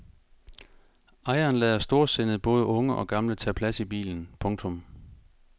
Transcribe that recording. Ejeren lader storsindet både unge og gamle tage plads i bilen. punktum